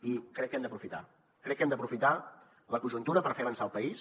i crec que hem d’aprofitar crec que hem d’aprofitar la conjuntura per fer avançar el país